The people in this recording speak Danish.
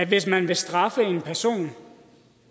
hvis man vil straffe en person